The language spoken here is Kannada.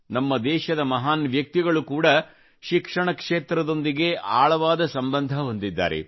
ನಮ್ಮ ದೇಶದ ಮಹಾನ್ ವ್ಯಕ್ತಿಗಳು ಕೂಡಾ ಶಿಕ್ಷಣ ಕ್ಷೇತ್ರದೊಂದಿಗೆ ಆಳವಾದ ಸಂಬಂಧ ಹೊಂದಿದ್ದಾರೆ